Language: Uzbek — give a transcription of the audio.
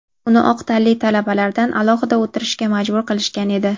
Uni oq tanli talabalardan alohida o‘tirishga majbur qilishgan edi.